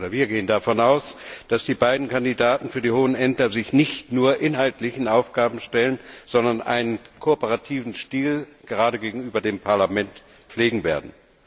Wir gehen davon aus, dass sich die beiden Kandidaten für die hohen Ämter nicht nur inhaltlichen Aufgaben stellen, sondern einen kooperativen Stil gerade gegenüber dem Parlament pflegen werden.